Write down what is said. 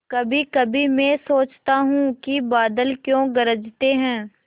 कभीकभी मैं सोचता हूँ कि बादल क्यों गरजते हैं